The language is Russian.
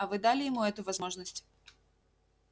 а вы дали ему эту возможность